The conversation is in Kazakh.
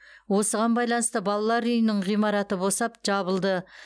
осыған байланысты балалар үйінің ғимараты босап жабылды